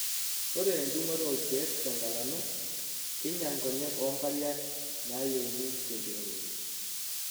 Ore endungoto okiek tenkalano keinyal nkonyek oo nkariak nayeuni tenkiremore.